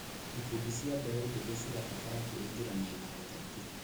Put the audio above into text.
Ikundi cia mbeĩ njĩthĩ cirabatara kwĩingĩrania na ũteti.